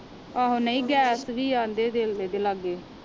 ਆਹੋ ਨਹੀਂ ਗੈਸ ਵੀ ਆਂਦੇ ਦਿਲ ਦੇ ਲਾਗੇ